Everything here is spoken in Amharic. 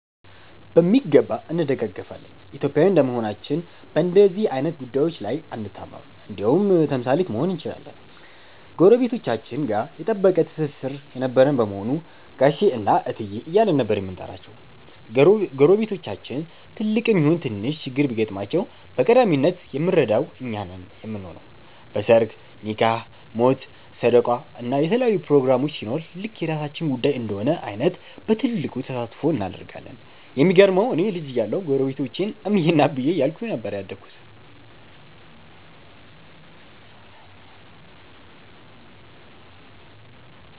በሚገባ እንደጋገፋለን። ኢትዮጵያዊ እንደመሆናችን በንደዚህ አይነት ጉዳዬች ላይ አንታማም እንደውም ተምሳሌት መሆን እንችላለን። ጎረቤቶቻችን ጋ የጠበቀ ትስስር የነበረን በመሆኑ ጋሼ እና እትዬ እያልን ነበር የምንጠራቸው። ጎረቤቶቻችን ትልቅም ይሁን ትንሽ ችግር ቢገጥማቸው በቀዳሚነት የምንረዳው እኛ ነን ምንሆነው። በ ሰርግ፣ ኒካህ፣ ሞት፣ ሰደቃ እና የተለያዩ ፕሮግራሞች ሲኖር ልክ የራሳችን ጉዳይ እንደሆነ አይተን በትልቁ ተሳትፎ እናደርጋለን። የሚገርመው እኔ ልጅ እያለሁ ጎረቤቶቼን እምዬ እና አብዬ እያልኩኝ ነበር ያደግኩት።